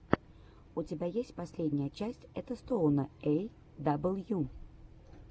у тебя есть последняя часть этостоуна эй дабл ю